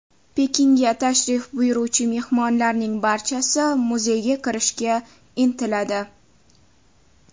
Pekinga tashrif buyuruvchi mehmonlarning barchasi muzeyga kirishga intiladi.